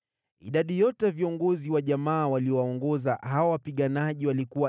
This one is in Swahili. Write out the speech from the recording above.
Idadi yote ya viongozi wa jamaa waliowaongoza hawa wapiganaji walikuwa 2,600.